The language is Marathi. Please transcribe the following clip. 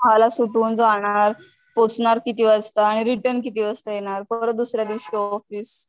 सहाला सुटून जाणार, पोहचणार किती वाजता आणि रिटर्न किती वाजता परत दुसऱ्यादिवशी ऑफिस.